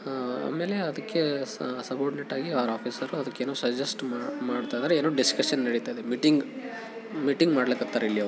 ಆಮೇಲೆ ಅದಕ್ಕೆ ಸ ಸಬಾರ್ಡಿನೇಟ್ ಆಗಿ ಅವ್ರ ಆಫೀಸರ್ ಅದಕ್ಕೆ ಏನೋ ಸಜೆಸ್ಟ್ ಮಾಡ್ತಾ ಇದ್ದಾರೆ ಏನೋ ಡಿಸ್ಕಶನ್ ನಡಿತ್ತಾ ಇದೆ ಮೀಟಿಂಗ್ ಮಾಡ್ಲ ಕತ್ತರ್ ಇಲ್ಲಿಅವ್ರು.